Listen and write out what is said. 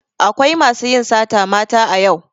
Akwai masu yin sata mata a yau.